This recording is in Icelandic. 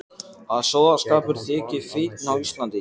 Að sóðaskapur þyki fínn á Íslandi.